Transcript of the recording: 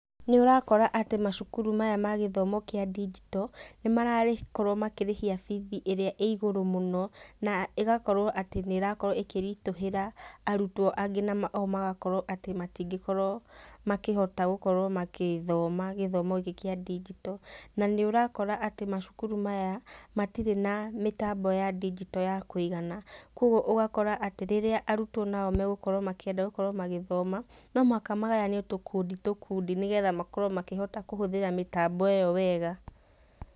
Nĩũrakora atĩ macukuru maya ma gĩthomo kĩa ndigito, nĩmarakorwo makĩrĩhia bithi ĩrĩa ĩgũrũ mũno na ĩgakorwo atĩ ĩrakorwo ĩkĩritũhĩra arutwo angĩ na o magakorwo atĩ matingĩkorwo makĩhota gũkorwo magĩthoma gĩthomo gĩkĩ kĩa ndigito. Na nĩũrakora atĩ macukuru maya matirĩ na mĩtambo ya ndigito ya kũiga kogwo ũgakora atĩ rĩrĩa arutwo na o megũkorwo makĩenda gũkorwo magĩthoma no mũhaka magayanio tũkundi tũkundi nĩgetha makorwo maĩhota kũhũthĩra mĩtambo ĩyo wega.